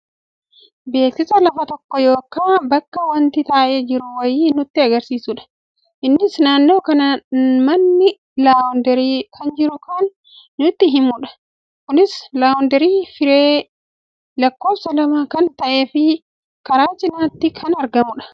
Beeksisa lafa tokko yookaa bakka wanti ta'e jiru wayii nutti agarsiisudha. Innis naannoo kana manni laawundarii kana jiru kana nutti himudha. Kunis laawundarii firee lakkoofsa lama kan ta'ee fi karaa cinaatti kan argamudha.